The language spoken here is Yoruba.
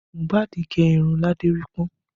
Mohbad gẹ irun ládérípọ́n